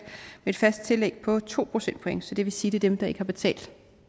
med et fast tillæg på to procentpoint så det vil sige det dem der ikke har betalt